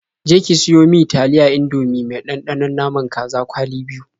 Je ki siyo mi taliyar Indomie mai ɗanɗanon naman kaza kwali biyu.